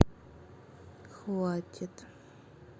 хватит